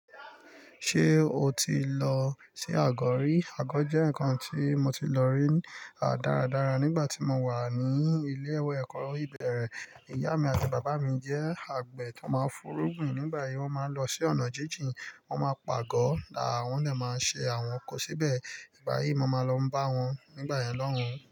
Ṣé o ti lọ sí àgọ̀ rí? Àgọ̀ jẹ́ nǹkan tí mo ti lọ rí dáradára nígbà tí mo wà ní ilé ìwé ẹ̀kọ́ ibeérè. Ìyá mi àti bàbá mi jẹ́ àgbẹ̀ tó máa ń furúgbin. Nígbà yìí, wọ́n máa ń lọ sí ọ̀nà jíjìn, wọ́n máa pàágọ̀, wọ́n dè máa ṣe àwọn kan síbẹ̀. Nígbà yìí, mo máa lọ bá wọn. Nígbà yẹn, lohun.